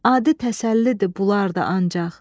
Adi təsəllidir bunlar da ancaq.